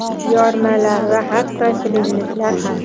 yormalar va hatto shirinliklar ham.